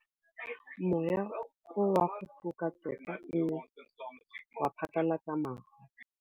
Mowa o wa go foka tota o ne wa phatlalatsa maru.